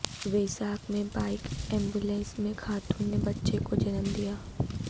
ویزاگ میں bike ambulance میں خاتون نے بچہ کو جنم دیا